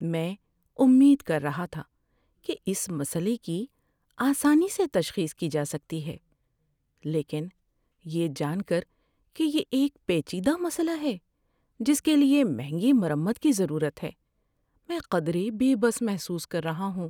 میں امید کر رہا تھا کہ اس مسئلے کی آسانی سے تشخیص کی جا سکتی ہے، لیکن یہ جان کر کہ یہ ایک پیچیدہ مسئلہ ہے جس کے لیے مہنگی مرمت کی ضرورت ہے، میں قدرے بے بس محسوس کر رہا ہوں۔